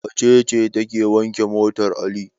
Wace ce take wanke motar Ali?